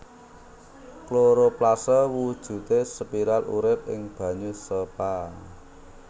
Kloroplasé wujudé spiral urip ing banyu sepa